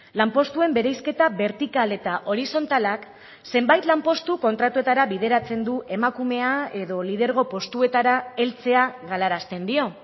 lanpostuen bereizketa bertikal eta horizontalak zenbait lanpostu kontratuetara bideratzen du emakumea edo lidergo postuetara heltzea galarazten dio